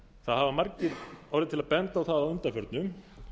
það hafa margir orðið til að enda á það að undanförnu